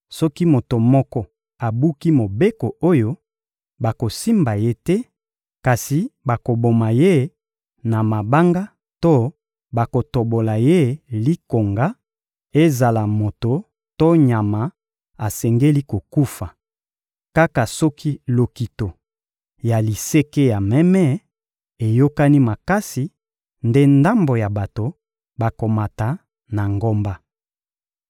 Soki moto moko abuki mobeko oyo, bakosimba ye te, kasi bakoboma ye na mabanga to bakotobola ye likonga; ezala moto to nyama, asengeli kokufa. Kaka soki lokito ya liseke ya meme eyokani makasi nde ndambo ya bato bakomata na ngomba.»